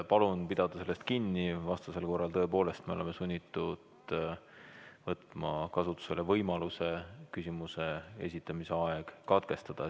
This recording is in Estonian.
Palun pidada sellest kinni, vastasel korral me tõepoolest oleme sunnitud võtma kasutusele võimaluse küsimuse esitamise aeg katkestada.